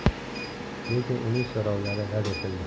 Lekin uning so‘rovlari rad etildi.